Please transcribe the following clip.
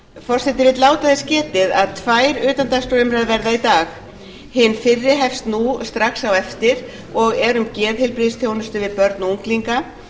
forseti vill láta þess getið að tvær utandagskrárumræður verða í dag hin fyrri hefst nú strax á eftir og er um geðheilbrigðisþjónustu við börn og unglinga